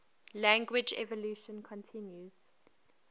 language evolution continues